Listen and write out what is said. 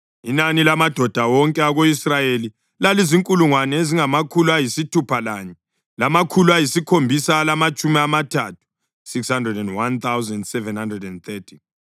Inani lamadoda wonke ako-Israyeli lalizinkulungwane ezingamakhulu ayisithupha lanye, lamakhulu ayisikhombisa alamatshumi amathathu (601,730).